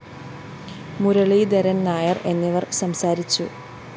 മുരളീധരന്‍ നായര്‍ എന്നിവര്‍ സംസാരിച്ചു